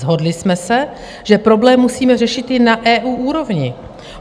Shodli jsme se, že problém musíme řešit i na EU úrovni.